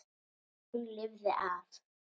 En hún lifði af.